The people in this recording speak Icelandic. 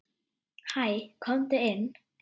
Hæ, komdu inn.